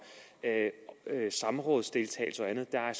samrådsdeltagelse og andet der er